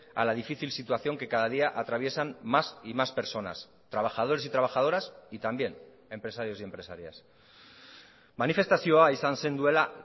a la difícil situación que cada día atraviesan más y más personas trabajadores y trabajadoras y también empresarios y empresarias manifestazioa izan zen duela